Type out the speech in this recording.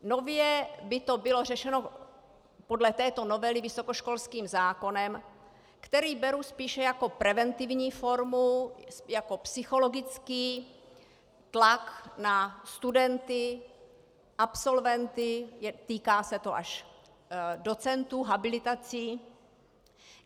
Nově by to bylo řešeno podle této novely vysokoškolským zákonem, který beru spíše jako preventivní formu, jako psychologický tlak na studenty, absolventy, týká se to až docentů, habilitací.